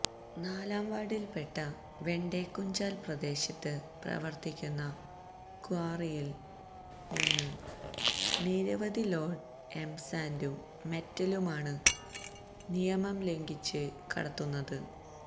നാലാം വാര്ഡില്പ്പെട്ട വെണ്ടേക്കുംചാല് പ്രദേശത്ത് പ്രവര്ത്തിക്കുന്ന ക്വാറിയില് നിന്ന് നിരവധി ലോഡ് എംസാന്റും മെറ്റലുമാണ് നിയമംലംഘിച്ച് കടത്തുന്നത്